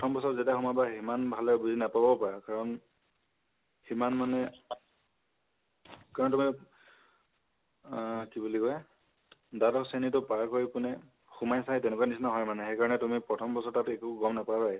প্ৰথম বছৰ ত যেতিয়া সোমাবা ইমান ভালদৰে বুজি নাপাবও পাৰা । কাৰণ সিমান মানে, কাৰণ তুমি । আ কি বুলি কয়, দ্বাদশ শ্ৰণীটো পাৰ কৰি পিনে সোমাইছাহে, তেনেকুৱা নিচিনা হয় মানে । সেইকাৰণে প্ৰথম বছৰটোত তুমি একো তাত গম নাপাবাই।